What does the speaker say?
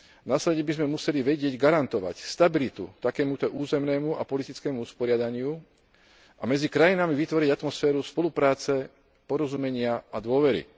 Následne by sme museli vedieť garantovať stabilitu takémuto územnému a politickému usporiadaniu a medzi krajinami vytvoriť atmosféru spolupráce, porozumenia a dôvery.